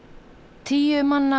tíu manna